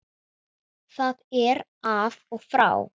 Það er af og frá.